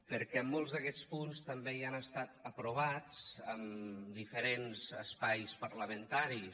perquè molts d’aquests punts també ja han estat aprovats en diferents espais parlamentaris